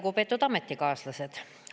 Lugupeetud ametikaaslased!